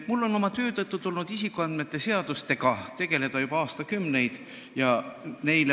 Mul on oma töö tõttu tulnud juba aastakümneid isikuandmete kaitse seadustega tegeleda.